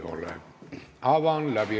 Eelnõu 706 esimene lugemine on lõpetatud.